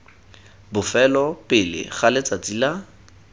bofelo pele ga letsatsi la